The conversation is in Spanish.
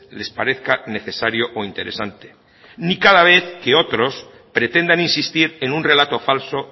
les parezca necesario o interesante ni cada vez que otros pretendan insistir en un relato falso